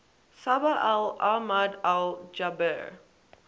sabah al ahmad al jabir